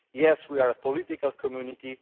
yes, we are a political community.